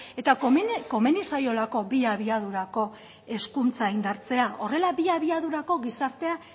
eta komeni zaiolako bi abiadurako hezkuntza indartzea horrela bi abiadurako gizartea